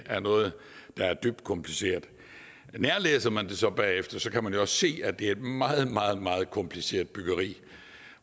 er noget der er dybt kompliceret nærlæser man det så bagefter kan man også se at det er et meget meget meget kompliceret byggeri